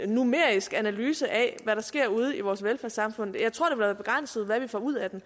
numerisk analyse af hvad der sker ude i vores velfærdssamfund jeg tror være begrænset hvad vi får ud af det